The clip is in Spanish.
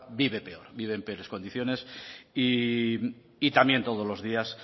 vive peor vive en peores condiciones y también todos los días